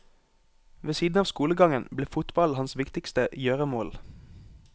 Ved siden av skolegangen ble fotballen hans viktigste gjøremål.